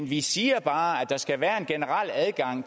vi siger bare at der skal være en generel adgang